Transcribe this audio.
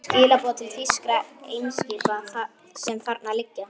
Skilaboð til þýskra eimskipa, sem þarna liggja.